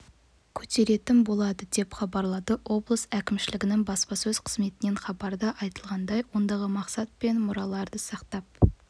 көтеретін болады деп хабарлады облыс әкімшілігінің баспасөз қызметінен хабарда айтылғандай ондағы мақсат көне мұраларды сақтап